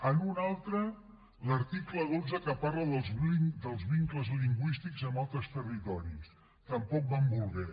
en una altra l’article dotze que parla dels vincles lingüístics amb altres territoris tampoc van voler